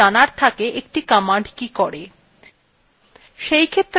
কোনো কোনো সময় আমাদের খুব অধিক বিশদ বর্ণনার প্রয়োজন থাকে না আমাদের শুধু জানার থাকে একটি command কি করে